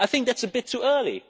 I think that's a bit too early.